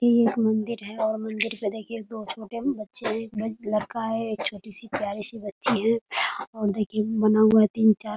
ये एक मंदिर है और मंदिर पे देखिए दो छोटे बच्चे है। एक लड़का है एक छोटी-सी प्यारी सी बच्ची है और देखिए बना हुआ है तीन-चार --